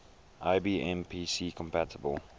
ibm pc compatible